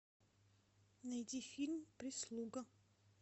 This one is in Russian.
найди фильм прислуга